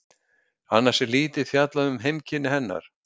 Annars er lítið fjallað um heimkynni hennar.